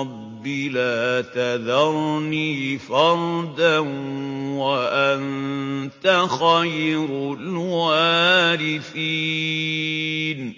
رَبِّ لَا تَذَرْنِي فَرْدًا وَأَنتَ خَيْرُ الْوَارِثِينَ